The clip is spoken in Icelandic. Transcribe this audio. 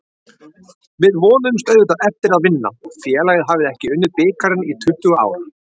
Við vonuðumst auðvitað eftir að vinna, félagið hafði ekki unnið bikarinn í tuttugu ár.